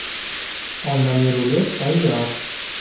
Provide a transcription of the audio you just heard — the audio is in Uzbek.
Olmali rulet tayyor.